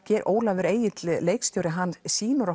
Ólafur Egill leikstjóri sýnir